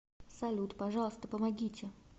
салют пожалуйста помогите